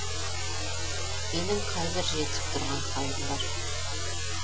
менің қайбір жетісіп тұрған халім бар